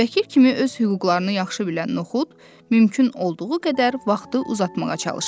Vəkil kimi öz hüquqlarını yaxşı bilən Noxud mümkün olduğu qədər vaxtı uzatmağa çalışdı.